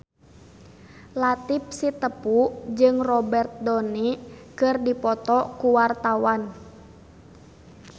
Latief Sitepu jeung Robert Downey keur dipoto ku wartawan